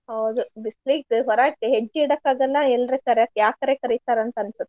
ಹೌದು ಬಿಸ್ಲಿಗ್ದ್ ಹೊರಾಕ್ ಹೆಜ್ಜೆ ಇಡಾಕಾಗಲ್ಲಾ ಎಲ್ರೂ ಕರ್ಯಾಕ್ ಯಾಕರೆ ಕರೀತರೋ ಅಂತನ್ಸುತ್.